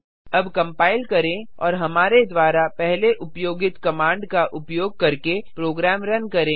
अब कंपाइल करें और हमारे द्वारा पहले उपयोगित कमांड का उपयोग करके प्रोग्राम रन करें